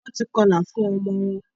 Wón tí kọla fun omo won